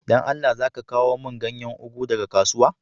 Dan Allah za ka kawo mun ganyan ugu daga kasuwa?